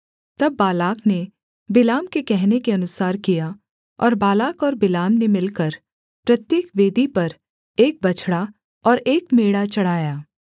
तब बालाक ने बिलाम के कहने के अनुसार किया और बालाक और बिलाम ने मिलकर प्रत्येक वेदी पर एक बछड़ा और एक मेढ़ा चढ़ाया